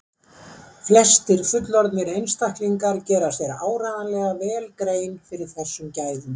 Flestir fullorðnir einstaklingar gera sér áreiðanlega vel grein fyrir þessum gæðum.